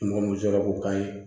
Mɔgɔ mun sɔrɔ k'o k'a ye